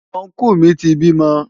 Ọnkú mi ti bímọ.